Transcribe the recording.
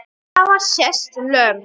Svo hafa sést lömb.